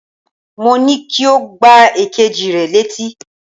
Mo ní kí o gbá èkejì rẹ létí